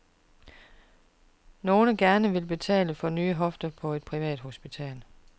Nogle gerne vil betale for en ny hofte på et privat hospital.